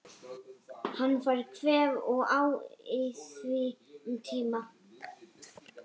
Hann fær kvef og á í því um tíma.